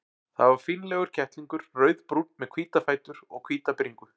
Það var fínlegur kettlingur, rauðbrúnn með hvíta fætur og hvíta bringu.